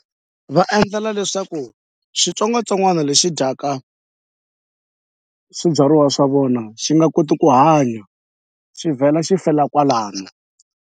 Va endlela leswaku xitsongwatsongwana lexi dyaka swibyariwa swa vona xi nga koti ku hanya xi vhela xi fela kwalano.